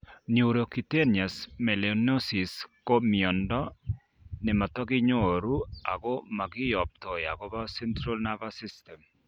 Neurocutaneous melanosis ko myondo nemotokinyoru ako mokiyoptoi akobo central nervous system